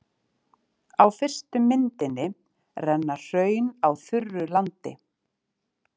Á fyrstu myndinni renna hraun á þurru landi.